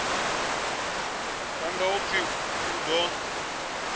phanḓa u pfi u ḓo